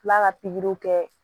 B'a ka pikiriw kɛ